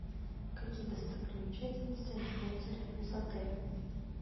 какие достопримечательности находятся рядом с отелем